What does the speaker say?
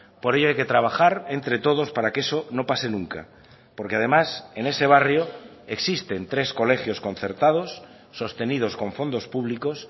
por ello hay que trabajar entre todos para que eso no pase nunca porque además en ese barrio existen tres colegios concertados sostenidos con fondos públicos